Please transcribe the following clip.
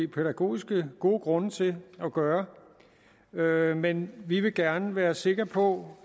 pædagogiske grunde til at gøre gøre men vi vil gerne være sikre på